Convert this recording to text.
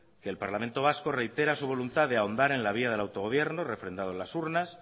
que el parlamento vasco reitera su voluntad de ahondar en la vía del autogobierno refrendado en las urnas